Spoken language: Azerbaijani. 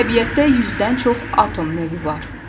Təbiətdə yüzdən çox atom növü var.